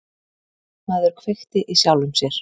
Maður kveikti í sjálfum sér